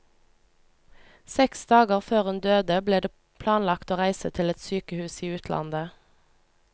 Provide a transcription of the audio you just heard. Seks dager før hun døde ble det planlagt å reise til et sykehus i utlandet.